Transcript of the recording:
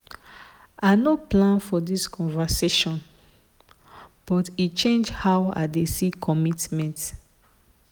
i no plan for this conversation but e change how i dey see commitment.